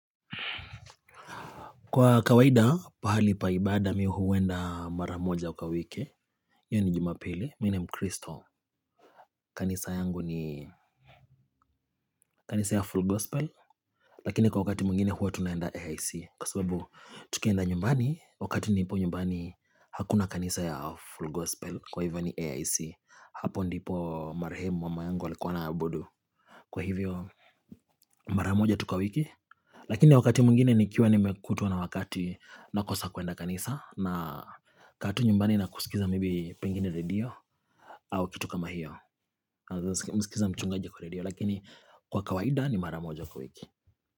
Kwa kawaida, pahali pa ibada mi huenda maramoja kwa wiki. Yoni jumapili, mi ni mkristo. Kanisa yangu ni kanisa ya Full Gospel. Lakini kwa wakati mwengine huwa tunaenda AIC. Kwa sababu tukienda nyumbani, wakati nipo nyumbani hakuna kanisa ya Full Gospel. Kwa hivyo ni AIC. Hapo ndipo marahemu mama yangu alikuwa ana abudu. Kwa hivyo, maramoja tu kwa wiki. Lakini wakati mwingine nikiwa nimekutwa na wakati nakosa kuenda kanisa. Na kaa tu nyumbani na kusikiza maybe pengine radio au kitu kama hiyo Kwa kawaida ni mara moja kwa wiki.